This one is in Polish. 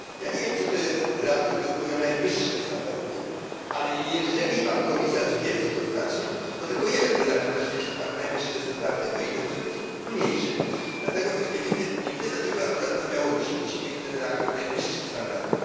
Nie wiem, co to jest reaktor, który spełnia najwyższe standardy, ale jeżeli pan komisarz wie, co to znaczy, to tylko jeden redaktor na świecie ma najwyższe standardy, bo inne muszą mieć mniejsze. Dlatego też nie rozumiem, dlaczego akurat na Białorusi musi mieć ten reaktor najwyższe standardy.